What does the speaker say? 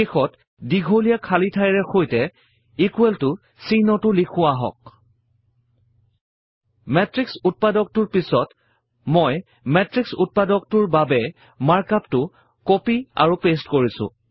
শেষত দীঘলীয়া খালী ঠাইৰ সৈতে ইকোৱেল ত চিহ্নটো লিখো আহক মেত্ৰিক্স উত্পাদকটোৰ পিছত মই মেত্ৰিক্স উত্পাদকটোৰ বাবে মাৰ্ক up টো কপি আৰু পেইষ্ট কৰিছো